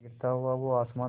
गिरता हुआ वो आसमां से